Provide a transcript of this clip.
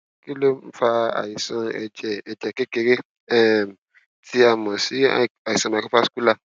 kí ló ń fa àìsàn ẹjẹ ẹjẹ kékeré um tí a mọ sí àìsàn microvascular